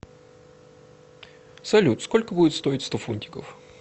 салют сколько будет стоить сто фунтиков